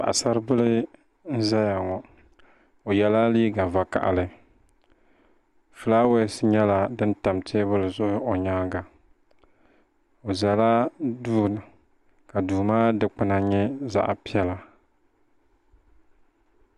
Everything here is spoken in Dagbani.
Paɣasaribili n ʒɛya ŋp o yɛla liiga vakaɣali fulaawaasi nyɛla din tam teebuli zuɣu o nyaanga o ʒɛla duu ka duu maa dikpuna nyɛ zaɣ piɛla